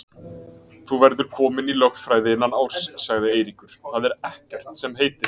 Þú verður kominn í lögfræði innan árs, sagði Eiríkur, það er ekkert sem heitir.